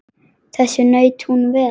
Þess naut hún vel.